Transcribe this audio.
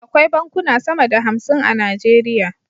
Akwai bankuna sama da hamsin a nigeria